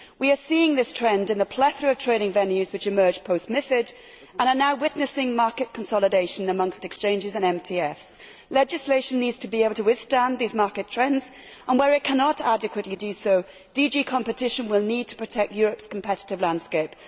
We are seeing this trend in the plethora of training venues which emerged post MiFID and are now witnessing market consolidation amongst exchanges and Multilateral Trading Facilities. Legislation needs to be able to withstand these market trends and, where it cannot adequately do so, DG Competition will need to protect Europe's competitive landscape.